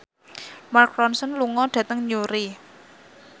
Mark Ronson lunga dhateng Newry